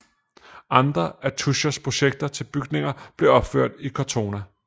Andre af Tuschers projekter til bygninger blev opført i Cortona